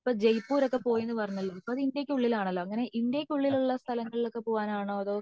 ഇപ്പൊ ജയ്‌പൂർ ഒക്കെ പോയന്ന് പറഞ്ഞല്ലോ അപ്പോ അത് ഇന്ത്യക്ക് ഉള്ളിൽ ആണല്ലോ ഇന്ത്യക്ക് ഉള്ളിൽ ഉള്ള സ്ഥലങ്ങളിൽ ഒക്കെ പോവാൻ ആണോ